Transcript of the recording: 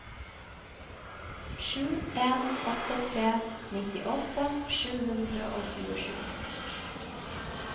sju en åtte tre nittiåtte sju hundre og tjuesju